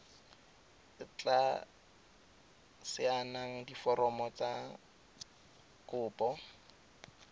tla saenang diforomo tsa kopo